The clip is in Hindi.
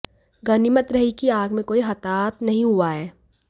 गनीमत रही कि आग में कोई हताहत नहीं हुआ है